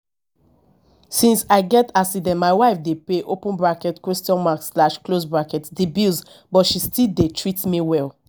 since i get accident my wife dey pay open bracket question mark slash close bracket the bills but she still dey treat me well